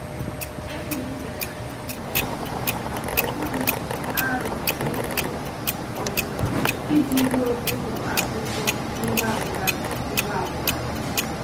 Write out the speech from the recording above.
Enyi m bịara ije ma tụrụ m aro ụzọ ọzọ iji ruo ụlọ akwụkwọ ngwa ngwa. ngwa ngwa.